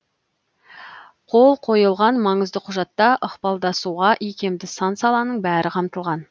қол қойылған маңызды құжатта ықпалдасуға икемді сан саланың бәрі қамтылған